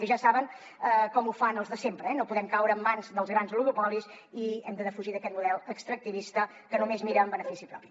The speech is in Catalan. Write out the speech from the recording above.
i ja saben com ho fan els de sempre eh no podem caure en mans dels grans oligopolis i hem de defugir aquest model extractivista que només mira en benefici propi